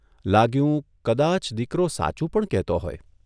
લાગ્યું કદાચ દીકરો સાચું પણ કહેતો હોય !